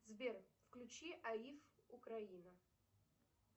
сбер включи аиф украина